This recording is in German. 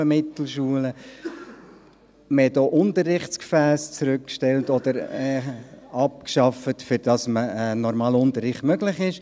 Man stellte Unterrichtsgefässe zurück oder schaffte sie ab, um einen normalen Unterricht zu ermöglichen.